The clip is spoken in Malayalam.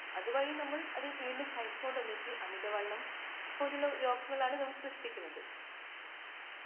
അതുവഴി നമ്മൾ അത് വീണ്ടും കഴിച്ചോണ്ട് വച്ചു അമിത വണ്ണംപോലുള്ള രോഗങ്ങളാണ് നാം സൃഷ്ടിക്കുന്നത്.